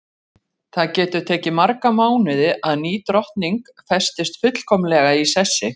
Það getur tekið marga mánuði að ný drottning festist fullkomlega í sessi.